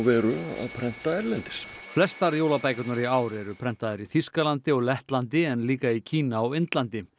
að prenta erlendis flestar jólabækurnar í ár eru prentaðar í Þýskalandi og Lettlandi en líka í Kína og Indlandi